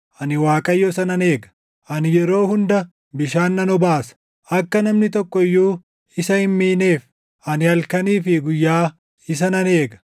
ani Waaqayyo isa nan eega; ani yeroo hunda bishaan nan obaasa; akka namni tokko iyyuu isa hin miineef ani halkanii fi guyyaa isa nan eega.